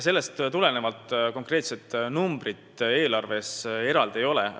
Sellest tulenevalt konkreetset numbrit riigieelarves kirjas ei ole.